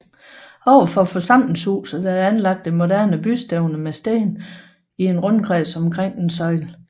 Overfor forsamlingshuset er der anlagt et moderne bystævne med sten i en rundkreds omkring en søjle